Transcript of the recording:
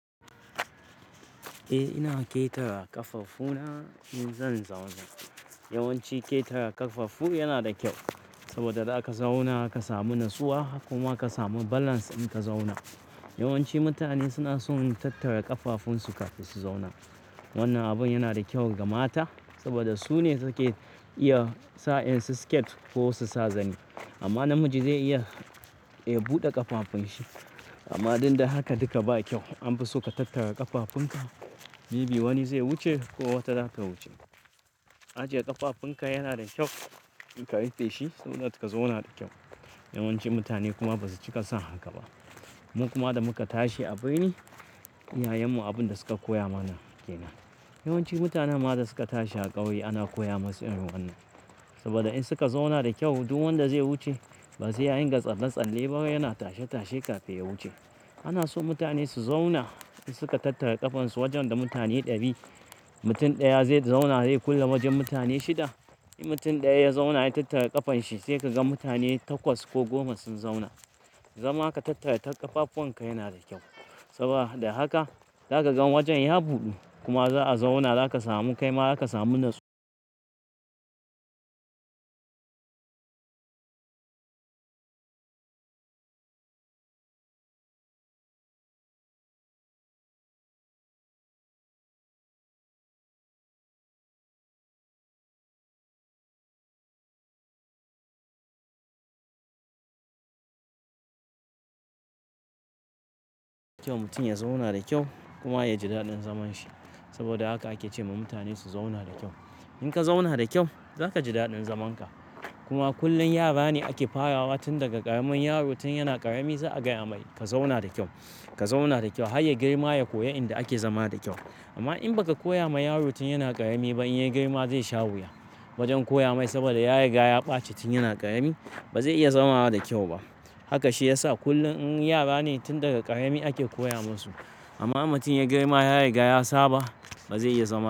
Eh ina keta ƙafafuna in zan zauna. Yawanci keta ƙafafu yana da kyau, saboda da aka zauna aka samu natsuwa kuma ka samu balance in ka zauna. Yawanci mutane suna son tattara ƙafafunsu kafin su zauna. Wannan abun yana da kyau ga mata, saboda su ne suke iya sa in su skate ko su sa zani. Amma namiji zai iya, ya buɗe ƙafafun shi. Amma dinda haka duka ba kyau. An fi so ka tattara ƙafafunka, mebi wani zai wuce ko wata zata wuce. Ajiye ƙafafunka yana da kyau in ka rife shi saboda ka zauna da kyau. Yawanci mutane kuma ba su cika son haka ba. Mun kuma da muka tashi, abirni iyayenmu abin da suka koya mana kenan. Yawanci mutanen da suka tashi a ƙauye ana koya musu irin wannan. Saboda in suka zauna da kyau, duk wanda zai wuce ba zai yin gatsalatsalle ba yana tashe-tashe kafin ya wuce. Ana so mutane su zauna in suka tattara ƙafansu wajen da mutane ɗari. Mutum ɗaya zai zauna he kulle wajen mutane shida. In mutum ɗaya ya zauna ya tattara ƙafan shi sai ka ga mutane takwas ko goma sun zauna. Zama ka tattare ƙafafuwanka yana da kyau, sabo da haka zakaga wajen ya budu, kuma za a zauna zaka samu kaima zakasamu kyau mutum ya zauna da kyau kuma ya ji daɗin zaman shi. Saboda haka ake ce ma mutane su zauna da kyau. In ka zauna da kyau, za ka ji daɗin zamanka. Kuma kullum yara ne ake farawa tun daga ƙaramin yaro tun yana ƙarami za a gaya mai "ka zauna da kyau, ka zauna da kyau" har ya girma ya koyi inda ake zama da kyau. Amma in baka koya ma yaro tun yana ƙarami ba in ya girma zai sha wuya wajen koya mai saboda yari ga ya ɓaci tun yana ƙarami ba zai iya zama da kyau ba. Haka shi ya sa kullum in yara ne tun daga ƙarami ake koya musu. Amma in mutum yagirma yariga ya saba, ba zai iya zama.